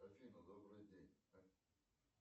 афина добрый день